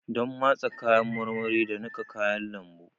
Donn matse kayan marmari da niƙa kayan lambu.